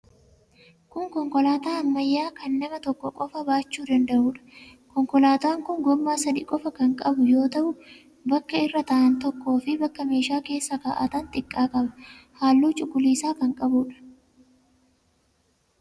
Kun konkolaataa ammayyaa kan nama tokko qofa baachuu danda'uudha. Konkolaataan kun gommaa sadii qofa kan qabu yoo ta'u, bakka irra taa'an tokkoo fi bakka meeshaa keessa kaa'atan xiqqaa qaba. Halluu cuquliisa kan qabuudha.